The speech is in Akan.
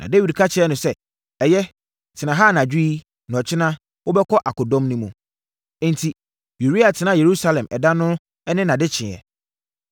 Na Dawid ka kyerɛɛ no sɛ, “Ɛyɛ, tena ha anadwo yi, na ɔkyena wobɛkɔ akodɔm no mu.” Enti, Uria tenaa Yerusalem ɛda no ne nʼadekyeeɛ.